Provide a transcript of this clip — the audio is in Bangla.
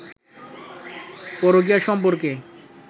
পরকীয়া সম্পর্কে